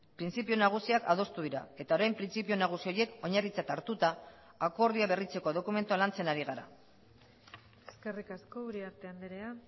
printzipio nagusiak adostu dira eta orain printzipio nagusi horiek oinarritzat hartuta akordioa berritzeko dokumentua lantzen ari gara eskerrik asko uriarte andrea